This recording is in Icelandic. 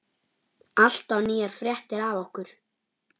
Alltaf nýjar fréttir af okkur.